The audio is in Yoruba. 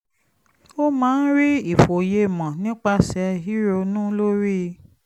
ó máa ń rí ìfòyemọ̀ nípasẹ̀ ríronú lórí